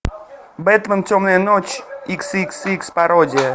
бэтмен темная ночь икс икс икс пародия